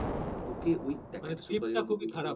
তোকে ওই